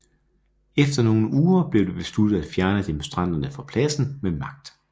Efter nogle uger blev det besluttet at fjerne demonstranterne fra pladsen med magt